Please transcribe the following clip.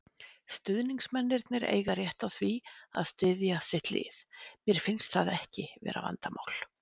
Stuðningsmennirnir eiga rétt á því að styðja sitt lið, mér finnst það ekki vera vandamál.